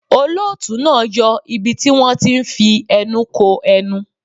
Olóòtú náà yọ ibi tí wón ti ń fi ẹnu ko ẹnu.